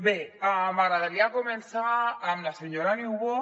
bé m’agradaria començar amb la senyora niubó